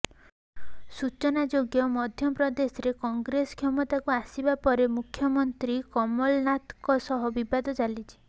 ସୂଚନାଯୋଗ୍ୟ ମଧ୍ୟପ୍ରଦେଶରେ କଂଗ୍ରେସ କ୍ଷମତାକୁ ଆସିବା ପରେ ମୁଖ୍ୟମନ୍ତ୍ରୀ କମଲନାଥଙ୍କ ସହ ବିବାଦ ଚାଲିଛି